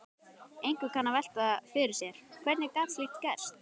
Einhver kann að velta fyrir sér: Hvernig gat slíkt gerst?